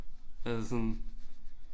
Altså sådan